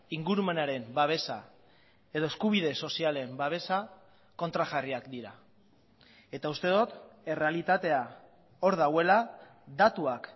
ingurumenaren babesa edo eskubide sozialen babesa kontrajarriak dira eta uste dut errealitatea hor dagoela datuak